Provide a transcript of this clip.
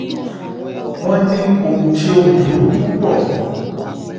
wọ́n ní ohun tó burú púpọ̀ ni